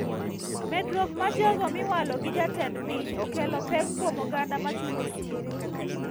Medruok mar jogo miwalo gi jatend piny okelo pek kuom oganda machulo osuru